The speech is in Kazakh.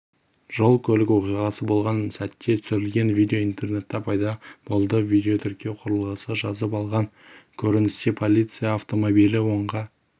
жол-көлік оқиғасы болған сәтте түсірілген видео интернеттепайда болды видеотіркеу құрылғысы жазып алған көріністе полиция автомобилі оңға